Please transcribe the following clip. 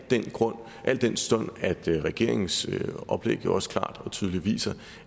den stund at regeringens oplæg jo også klart og tydeligt viser